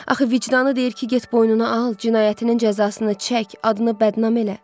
Axı vicdanı deyir ki, get boynuna al, cinayətinin cəzasını çək, adını bədnam elə.